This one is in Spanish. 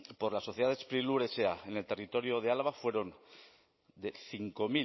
por la sociedad sprilur sa en el territorio de álava fueron de cinco